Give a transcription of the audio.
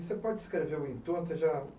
Você pode descrever o entorno? Você já